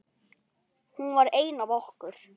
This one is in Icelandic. Hún var ein af okkur.